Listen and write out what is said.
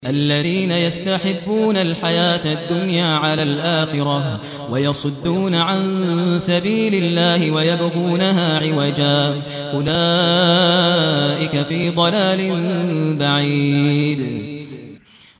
الَّذِينَ يَسْتَحِبُّونَ الْحَيَاةَ الدُّنْيَا عَلَى الْآخِرَةِ وَيَصُدُّونَ عَن سَبِيلِ اللَّهِ وَيَبْغُونَهَا عِوَجًا ۚ أُولَٰئِكَ فِي ضَلَالٍ بَعِيدٍ